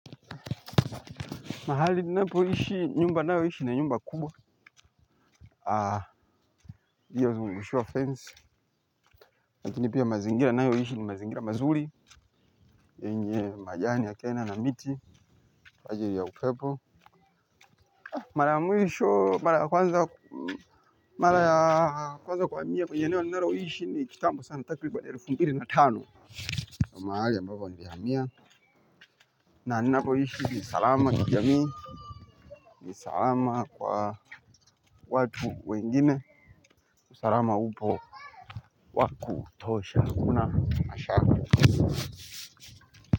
Mahali napoishi nyumba nayoishi ni nyumba kubwa iliyozungushiwa fence lakini pia mazingira ninayoishi ni mazingira mazuri yenye majani ya kena na miti kwa ajili ya upepo mara ya mwisho mara ya kwanza mara ya kwanza kuhamia kwenye eneo ninaloishi ni kitambo sana, takriban elfu mbili na tano na mahali ambapo nilihamia na ninapoishi salama jamii ni salama kwa watu wengine usalama upo wakutosha hakuna masharti.